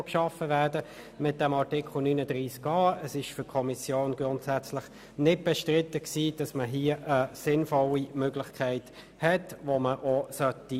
Es war für die Kommission unbestritten, dass hier sinnvolle Möglichkeiten genutzt werden sollen.